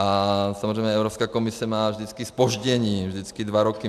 A samozřejmě Evropská komise má vždycky zpoždění, vždycky dva roky.